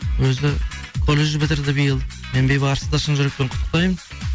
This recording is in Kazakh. өзі колледж бітірді биыл мен бейбарысты шын жүректен құттықтаймын